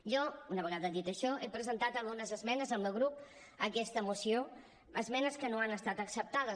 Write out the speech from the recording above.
jo una vegada dit això he presentat algunes esmenes el meu grup a aquesta moció esmenes que no han estat acceptades